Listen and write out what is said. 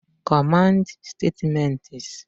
Command Statements